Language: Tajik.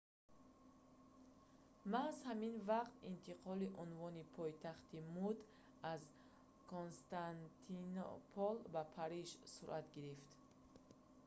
маҳз ҳамин вақт интиқоли унвони пойтахти мӯд аз константинопол ба париж сурат гирифт